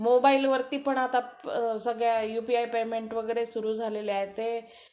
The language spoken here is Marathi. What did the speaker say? मोबाईल वरती पण आता सगळं युपीआय पेमेंट वगैरे सुरु झालेलं आहे